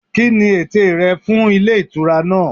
Kíni ète rẹ fún Ilé Ìtura náà